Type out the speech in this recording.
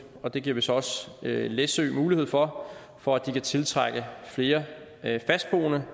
og det giver vi så også læsø mulighed for for at de kan tiltrække flere fastboende